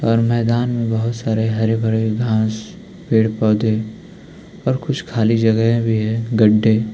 और मैदान में बहोत सारे हरे भरे घास पेड़ पौधे और कुछ खाली जगहे भी है गड्ढे।